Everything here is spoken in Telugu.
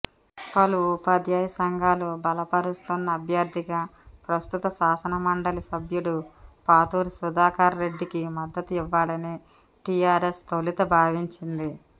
పలు ఉపాధ్యాయ సంఘాలు బలపరుస్తున్న అభ్యర్థిగా ప్రస్తుత శాసనమండలి సభ్యుడు పాతూరి సుధాకర్రెడ్డికి మద్దతు ఇవ్వాలని టీఆర్ఎస్ తొలుత భావించింది